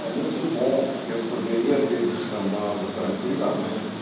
É muito bom, porque eu poderia ter descambado tranquilamente.